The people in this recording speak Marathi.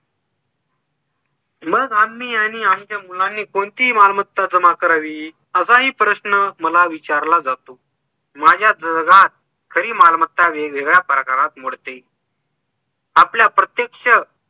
मग आम्ही आणि आमच्या मुलांनी कोणती मालमत्ता जमा करावी, असा ही प्रश्न मला विचारला जातो. माझ्या जगात खरी मालमत्ता वेगवेगळ्या प्रकारात मोडते आपल्या प्रत्यक्ष